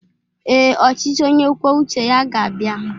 Ee, ọchịchị onye kwuo uche ga-abịa.